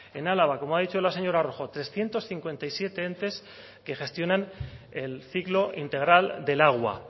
en álava como ha dicho la señora rojo trescientos cincuenta y siete entes que gestionan el ciclo integral del agua